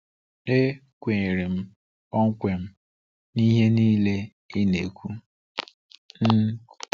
E kwenyere m kpọmkwem n'ihe niile ị na-ekwu. um